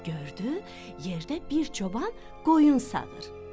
Gördü, yerdə bir çoban qoyun sağır.